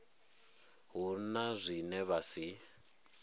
hu na zwine vha si